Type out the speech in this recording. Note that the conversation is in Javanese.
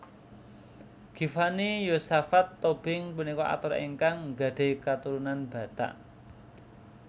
Givanni Yosafat Tobing punika aktor ingkang nggadhahi katurunan Batak